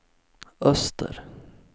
öster